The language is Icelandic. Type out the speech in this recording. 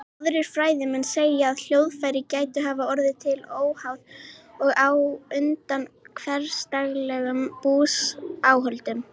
Aðrir fræðimenn segja að hljóðfæri gætu hafa orðið til óháð og á undan hversdagslegum búsáhöldum.